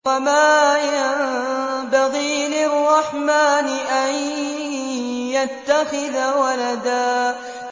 وَمَا يَنبَغِي لِلرَّحْمَٰنِ أَن يَتَّخِذَ وَلَدًا